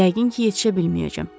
Yəqin ki, yetişə bilməyəcəm.